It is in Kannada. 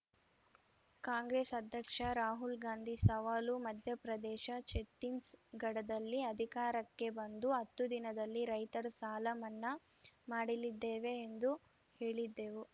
ಕಾಂಗ್ರೆಸ್‌ ಅಧ್ಯಕ್ಷ ರಾಹುಲ್‌ ಗಾಂಧಿ ಸವಾಲು ಮಧ್ಯಪ್ರದೇಶ ಛತ್ತೀಸ್‌ಗಢದಲ್ಲಿ ಅಧಿಕಾರಕ್ಕೆ ಬಂದು ಹತ್ತು ದಿನದಲ್ಲಿ ರೈತರ ಸಾಲ ಮನ್ನಾ ಮಾಡಲಿದ್ದೇವೆ ಎಂದು ಹೇಳಿದ್ದೆವು